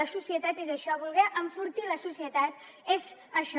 la societat és això voler enfortir la societat és això